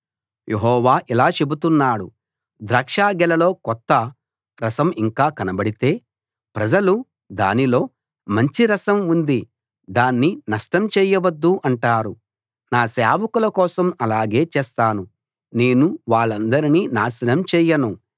యెహోవా ఇలా చెబుతున్నాడు ద్రాక్షగెలలో కొత్త రసం ఇంకా కనబడితే ప్రజలు దానిలో మంచి రసం ఉంది దాన్ని నష్టం చేయవద్దు అంటారు నా సేవకుల కోసం అలాగే చేస్తాను నేను వాళ్లందరినీ నాశనం చేయను